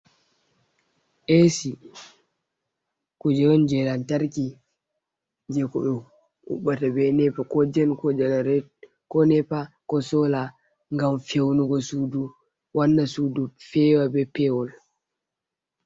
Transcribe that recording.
Esi kuje on je lantarki je ko ɓe huɓɓata be nepa, ko jen, ko jenara, ko nepa, ko sola ngam feunugo sudu wanna sudu fewa be pewol.